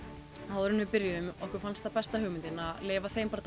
áður en við byrjuðum okkur fannst það besta hugmyndin að leyfa þeim bara